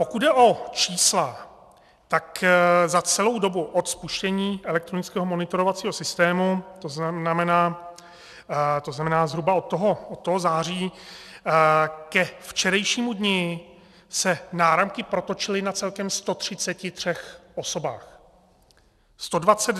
Pokud jde o čísla, tak za celou dobu od spuštění elektronického monitorovacího systému, to znamená zhruba od toho září, ke včerejšímu dni se náramky protočily na celkem 133 osobách.